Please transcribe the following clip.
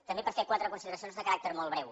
també per fer quatre consideracions de caràcter molt breu